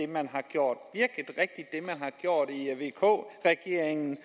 man har gjort i vk regeringen